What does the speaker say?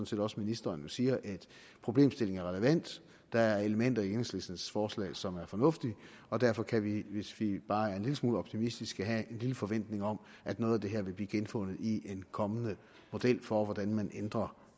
set også ministeren jo siger at problemstillingen er relevant der er elementer i enhedslistens forslag som er fornuftige og derfor kan vi hvis vi bare er en lille smule optimistiske have en lille forventning om at noget af det her vil blive genfundet i en kommende model for hvordan man ændrer